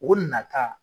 O nata